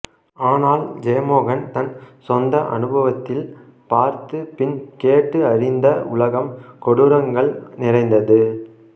ஆனால் ஜெயமோகன் தன் சொந்த அனுபவத்தில் பார்த்து பின் கேட்டு அறிந்த உலகம் கொடூரங்கள் நிறைந்தது